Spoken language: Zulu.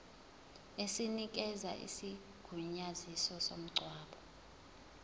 esinikeza isigunyaziso somngcwabo